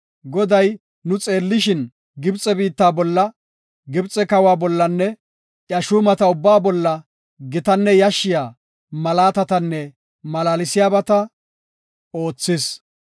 Goday nu xeellishin, Gibxe biitta bolla, Gibxe kawa bollanne iya shuumata ubbaa bolla gitanne yashshiya malaatatanne malaalsiyabata oothis.